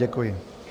Děkuji.